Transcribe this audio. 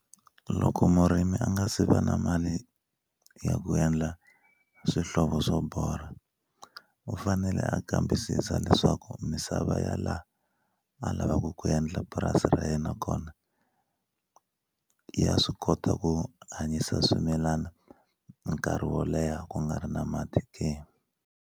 Loko murimi a nga se va na mali ya ku endla swihlovo swo borha u fanele a kambisisa leswaku misava ya la a lavaka ku endla purasi ra yena kona ya swi kota ku hanyisa swimilana nkarhi wo leha ku nga ri na mati ke.